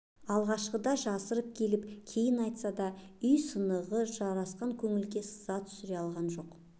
алғашқыда жасырып келіп кейін айтса да үй сынығы жарасқан көңілдерге сызат түсіре алған жоқ